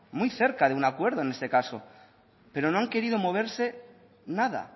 muy cerca de un acuerdo en este caso pero no han querido moverse nada